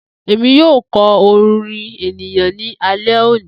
Emi yoo kọ orin eniyan ni alẹ oni.